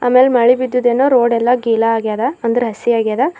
ಅಲ್ ಮಳಿ ಬಿದ್ದಿದೆನೋ ರೋಡ್ ಯಲಾ ಗಿಲಾ ಆಗ್ಯದ ಅಂದ್ರೆ ಹಸಿ ಆಗ್ಯದ.